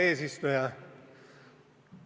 Hea eesistuja!